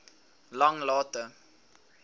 langlaagte